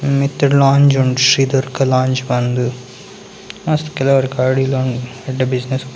ಮಿತ್ತ್‌ಡ್‌ lodge ಉಂಡು Shri Durga lodge ಪಂದ್‌ ಮಸ್ತ್‌ ಕೆಲವರ್‌ ಎಡ್ಡೆ ಬಿಸ್‌ನೆಸ್‌ .